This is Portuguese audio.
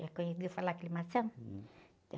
Já conheceu falar?